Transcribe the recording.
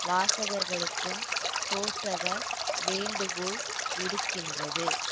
வாசகர்களுக்கும் சோசக வேண்டுகோள் விடுக்கின்றது